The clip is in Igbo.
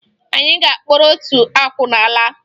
Anyị ga-akpọrọ otu akwụna laa